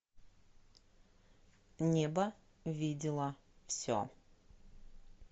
небо видело все